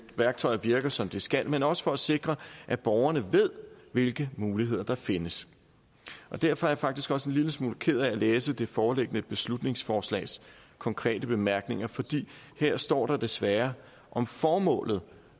værktøjer virker som de skal men også for at sikre at borgerne ved hvilke muligheder der findes og derfor er jeg faktisk også en lille smule ked af at læse det foreliggende beslutningsforslags konkrete bemærkninger for her står der desværre om formålet